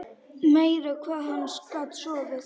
Meira hvað hann gat sofið!